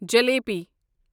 jalebi